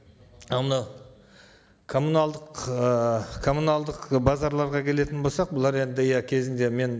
ал мынау коммуналдық ы коммуналдық базарларға келетін болсақ бұлар енді иә кезінде мен